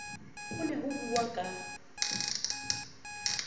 ho ne ho buuwa ka